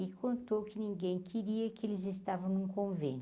E contou que ninguém queria que eles estavam em um